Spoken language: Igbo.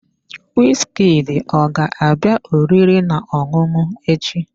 Wizkid ọ ga-abịa oriri na ọṅụṅụ echi?